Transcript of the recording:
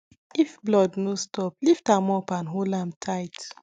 if blood no stop lift am up and hold am tight